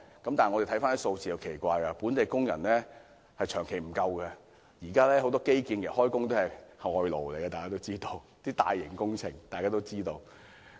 但是，回看數字是很奇怪的，本地工人數目長期不足，大家都知道現時為大型基建工程工作的也是外勞。